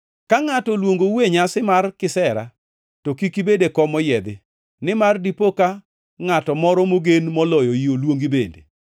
“Ka ngʼato oluongou e nyasi mar kisera to kik ibed e kom moyiedhi, nimar dipo ka ngʼato moro mogen moloyoi oluongi bende.